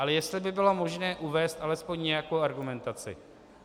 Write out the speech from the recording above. Ale jestli by bylo možné uvést alespoň nějakou argumentaci.